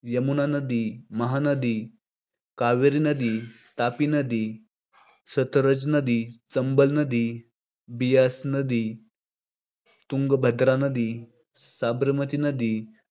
यमुना नदी, महा नदी, कावेरी नदी, तापी नदी, सतलज नदी, चंबळ नदी, बियास नदी, तुंगभद्रा नदी, साबरमती नदी,